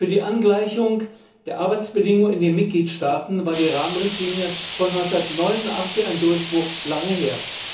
Für die Angleichung der Arbeitsbedingungen in den Mitgliedstaaten war die Rahmenrichtlinie von 1989 ein Durchbruch das ist lange her.